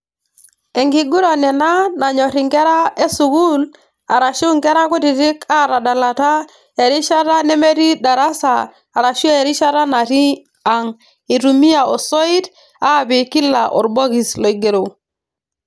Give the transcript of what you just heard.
Enkiguran ena nanyor inkera e sukuul arashu inkera kutitik atadalata erishata nemetii darasa arashu erishata natii angitumia osoit aapik kila orbokis oingero